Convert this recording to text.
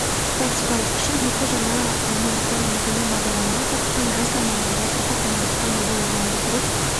тактикалық күші екі жаңа мамандықтар енгізілген бағдарламаға қатысқан мамандар жас ұрпақ мамандық таңдауда ойналып дұрыс